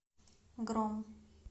гром